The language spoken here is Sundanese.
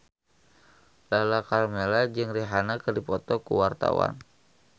Lala Karmela jeung Rihanna keur dipoto ku wartawan